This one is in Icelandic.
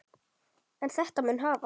En þetta mun hafast.